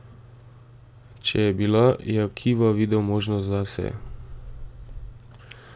Če je bila, je Akiva videl možnost zase.